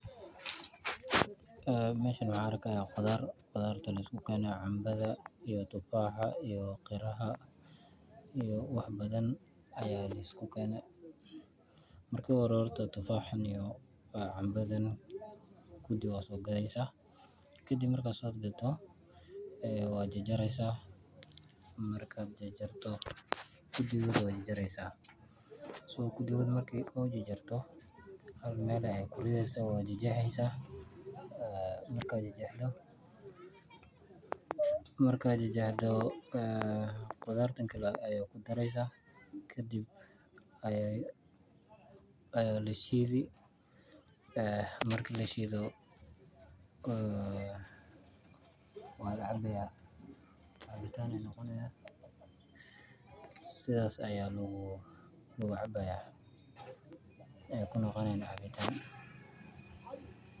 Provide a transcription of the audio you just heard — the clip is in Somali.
Meeshan waxaan arkayaa qudaar — qudaar la isku keenay: canbaha, tufaaxa, qaraha — wax badan la isku keenay. Marka ugu horraysa, tufaaxa iyo canbaha ayaa la dhigaya, waxaa lagu soo gadeysa. Kadib marka la soo gado, waxaad ku jarjareysaa. Kadib marka la jarjaro, hal meel ayaad ku ridaysaa, waad jarjaraysaa. Marka la jarjaro, qudaarta kale ayaa la shidayaa. Markii la shido, kadib ayaa la cabi — cabitaan ayuu noqonayaa. Sidaas ayayna loo cabayaa.